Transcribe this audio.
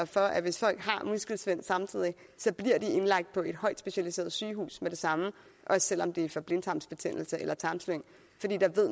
for at hvis folk har muskelsvind samtidig bliver de indlagt på et højt specialiseret sygehus med det samme også selv om det er for blindtarmsbetændelse eller tarmslyng fordi